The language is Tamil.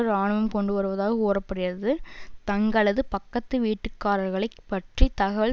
இராணுவம் கொண்டு வருவதாக கூற படுகிறது தங்களது பக்கத்து வீட்டுக்காரர்களைப் பற்றி தகவல்